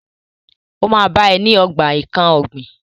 Ó máa bá ẹ ní ogbà nkán ọ̀gbìn.